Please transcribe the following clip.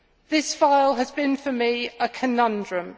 This file has been, for me, a conundrum.